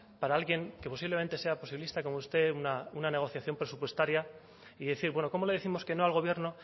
para alguien que posiblemente sea posibilista como usted una negociación presupuestaria y decir bueno cómo le décimos que no al gobierno